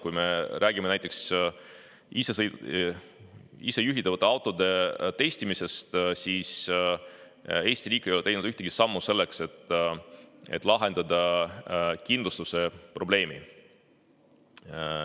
Kui me räägime näiteks isejuhtivate autode testimisest, siis Eesti riik ei ole teinud ühtegi sammu selleks, et lahendada kindlustuse probleemi.